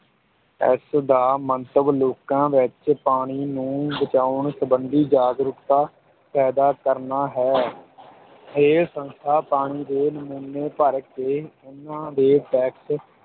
ਇਸ ਦਾ ਮੰਤਵ ਲੋਕਾਂ ਵਿੱਚ ਪਾਣੀ ਨੂੰ ਬਚਾਉਣ ਸੰਬੰਧੀ ਜਾਗਰੂਕਤਾ ਪੈਦਾ ਕਰਨਾ ਹੈ ਇਹ ਸੰਸਥਾ ਪਾਣੀ ਦੇ ਨਮੂਨੇ ਭਰ ਕੇ ਉਨ੍ਹਾਂ ਦੇ test